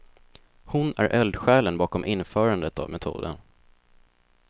Hon är eldsjälen bakom införandet av metoden.